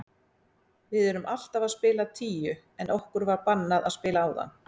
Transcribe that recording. Við erum alltaf að spila tíu en okkur var bannað að spila áðan.